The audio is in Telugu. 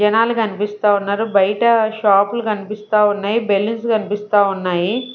జనాలు కనిపిస్తా ఉన్నారు బయట షాపులు కనిపిస్తా ఉన్నాయి బెలూన్స్ కనిపిస్తా ఉన్నాయి .